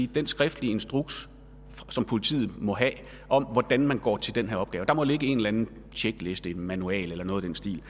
den skriftlige instruks som politiet må have om hvordan man går til denne opgave der må ligge en eller anden tjekliste manual eller noget i den stil